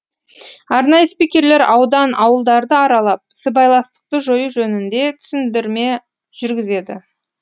арнайы спикерлер аудан ауылдарды аралап сыбайластықты жою жөнінде түсіндірме жүргізеді